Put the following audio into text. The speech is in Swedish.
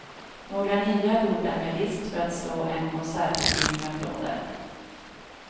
Några nya, gjorda med list för att slå en konsertpublik med applåder.